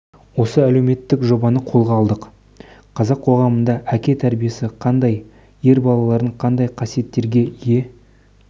осы әлеуметтік жобаны қолға алдық қазақ қоғамында әке тәрбиесі қандай ер балалардың қандай қасиеттерге ие